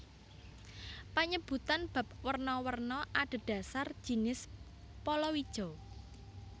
Panyebutan bap werna werna adhedhasar jinis palawija